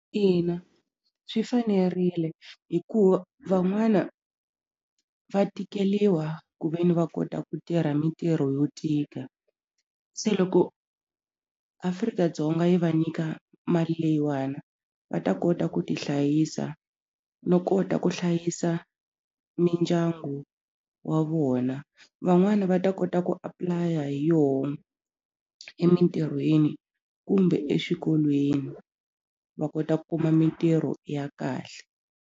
Ina swi fanerile hikuva van'wana va tikeliwa ku ve ni va kota ku tirha mintirho yo tika se loko Afrika-Dzonga yi va nyika mali leyiwana va ta kota ku tihlayisa no kota ku hlayisa mindyangu wa vona van'wani va ta kota ku apply-a hi yona emintirhweni kumbe exikolweni va kota ku kuma mintirho ya kahle.